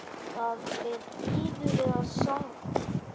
Það fer iðulega saman.